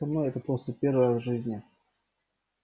со мной это просто первый раз в жизни